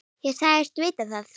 Ég sagðist vita það.